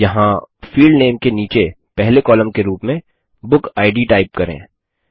यहाँ field name के नीचे पहले कॉलम के रूप में बुकिड टाइप करें